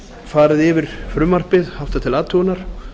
farið yfir frumvarpið haft til athugunar